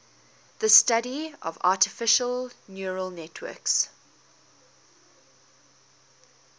the study of artificial neural networks